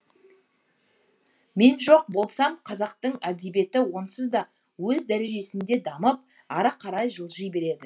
мен жоқ болсам қазақтың әдебиеті онсыз да өз дәрежесінде дамып ары қарай жылжи береді